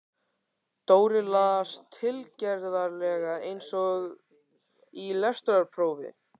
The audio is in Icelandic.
Dóri las, tilgerðarlega eins og í lestrarprófi